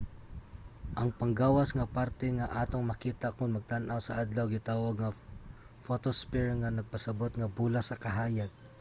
ang panggawas nga parte nga atong makita kon magtan-aw sa adlaw gitawag nga photosphere nga nagpasabut nga bola sa kahayag